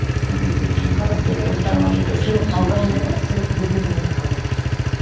енді біріншіден сыйлық алған ұнайды ма сыйлық берген ұнайды ма қазір